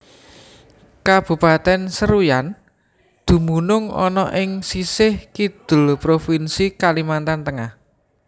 Kabupatèn Seruyan dumunung ana ing sisih Kidul Provinsi Kalimantan Tengah